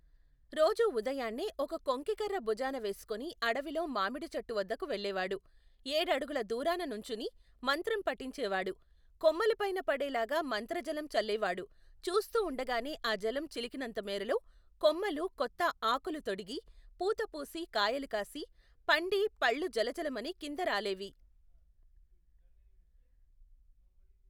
రోజూ ఉదయాన్నే ఒక కొంకికర్ర బుజాన వేసుకొని అడవిలో మామిడి చెట్టువద్దకు వెళ్ళేవాడు, ఏడడుగుల దూరాన నుంచుని మంత్రం పఠించేవాడు, కొమ్మలపైన పడే లాగా మంత్రజలం చల్లేవాడు చూస్తూ వుండగానే ఆ జలం చిలికినంతమేరలో కొమ్మలు కొత్త ఆకులు తొడిగి పూత పూసి కాయలు కాసి పండి పళ్ళు జలజలమని కింద రాలేవి.